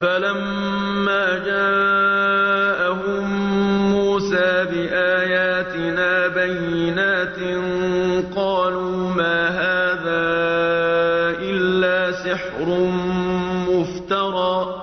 فَلَمَّا جَاءَهُم مُّوسَىٰ بِآيَاتِنَا بَيِّنَاتٍ قَالُوا مَا هَٰذَا إِلَّا سِحْرٌ مُّفْتَرًى